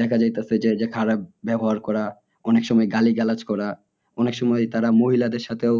দেখা যাইতেছি যে খারাপ ব্যবহার করা অনেক সময় গালিগালাজ করা অনেক সময় তারা মহিলাদের সাথেও